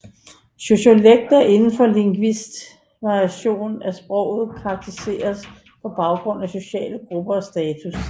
Sociolekt er inden for lingvistik variationen af sproget karakteriseret på baggrund af sociale grupper og status